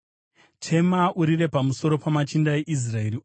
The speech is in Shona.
“Chema pamusoro pamachinda eIsraeri